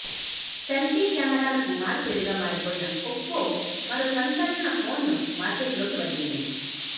selfie కెమెరాలకు మారుపేరుగా మారిపోయిన ఒప్పో మరో సంచలన ఫోన్ను మార్కెట్లోకి వదిలింది